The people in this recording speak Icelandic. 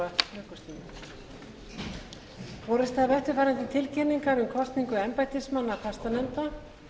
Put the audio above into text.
borist hafa eftirfarandi tilkynningar um kosningu embættismanna fastanefnda